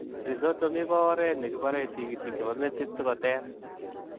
Rhizotomi koo oreet nekiparee tigitik chepoo metit sikoteer